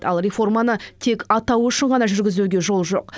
ал реформаны тек атауы үшін ғана жүргізуге жол жоқ